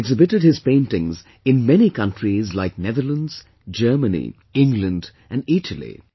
He has exhibited his paintings in many countries like Netherlands, Germany, England and Italy